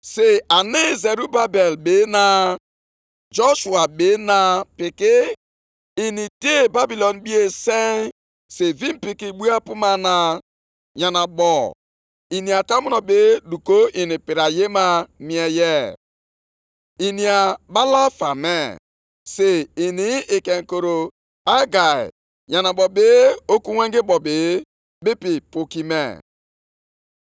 Mgbe ahụ, Zerubabel nwa Shealtiel, na Joshua nwa Jehozadak, onyeisi nchụaja, na ndị niile fọdụrụ, ṅara ntị nʼolu Onyenwe anyị Chineke ha, na nʼozi Hegai onye amụma, dịka Onyenwe anyị Chineke ha zitere ya. Ndị Izrel niile tụkwara egwu Onyenwe anyị.